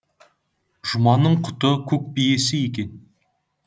жұманның құты көк биесі екен